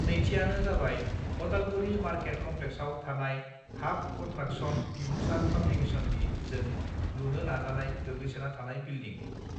नैथियानो जाबाय अदालगुरि मार्केट कमप्लेक्सआव थानाय हाफ कनस्ट्राकसन बिबुंसार पाब्लिकेसननि जों लुनो नाजानाय गोग्लैसोना थानाय बिल्डिं